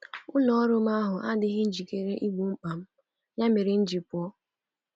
Ụlọ ọrụ ahụ adịghị njikere igbo mkpa m, ya mere m ji pụọ.